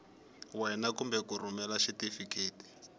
wena kumbe ku rhumela xitifiketi